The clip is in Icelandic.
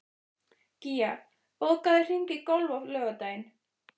Gía, bókaðu hring í golf á laugardaginn.